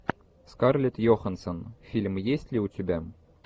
скарлетт йоханссон фильм есть ли у тебя